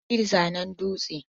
Hali zanen dutse.